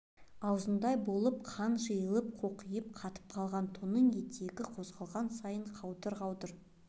аузындай болып қан жайылып қоқиып қатып қалған тонның етегі қозғалған сайын қаудыр-қаудыр